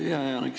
Hea Janek!